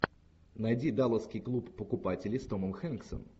найди далласский клуб покупателей с томом хэнксом